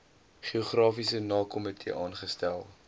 geografiese namekomitee aangestel